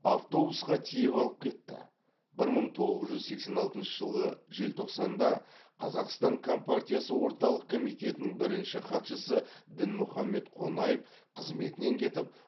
автобусқа тиеп алып кетті бір мың тоғыз жүз сексен алтыншы жылғы желтоқсанда қазақстан компартиясы орталық комитетінің бірінші хатшысы дінмұхаммед қонаев қызметінен кетіп